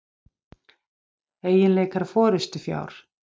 Eiginleikar forystufjár.